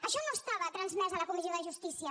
això no estava transmès a la comissió de jus·tícia